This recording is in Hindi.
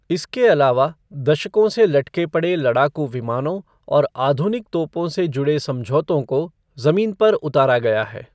इसके अलावा, दशकों से लटके पड़े लड़ाकू विमानों और आधुनिक तोपों से जुड़े समझौतों को जमीन पर उतारा गया है।